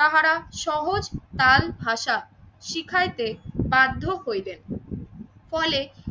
তাহারা সহজ টান ভাষা শিখাইতে বাধ্য করিবেন। ফলে